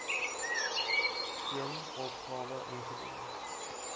een opgawe ingedien